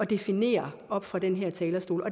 definere oppe fra den her talerstol